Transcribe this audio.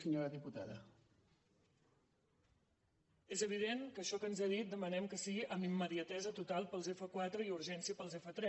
és evident que això que ens ha dit demanem que sigui amb immediatesa total per als f4 i urgència per als f3